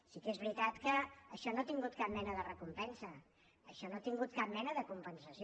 sí que és veritat que això no ha tingut cap mena de recompensa això no ha tingut cap mena de compensació